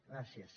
gràcies